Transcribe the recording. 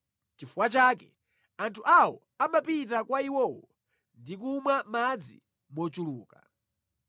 Nʼchifukwa chake anthu awo amapita kwa iwowo ndi kumwa madzi mochuluka.